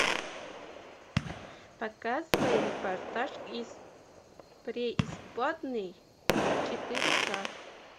показывай репортаж из преисподней четыре к